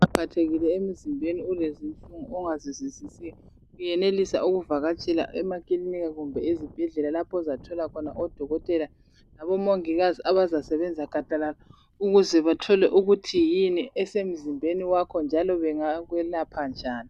Nxa uphathekile emzimbeni ulezinto ongazizwisisiyo uyenelisa ukuvakatshela emakilika kumbe ezibhedlela lapho ozathola khona odokotela labomongikazi abasebenza gadalala ukuze bathole ukuthi yini esemzimbeni wakho njalo bengakwelapha njani.